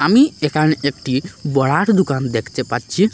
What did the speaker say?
আমি এখানে একটি বড়ার দুকান দেখতে পাচ্ছি।